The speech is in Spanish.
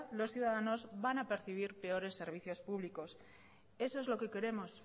los ciudadanos van a percibir peores servicios públicos eso es lo que queremos